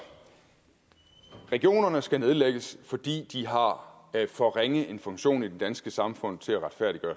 regionerne skal nedlægges fordi de har for ringe en funktion i det danske samfund til at retfærdiggøre